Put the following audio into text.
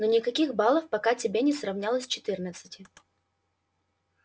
но никаких балов пока тебе не сравнялось четырнадцати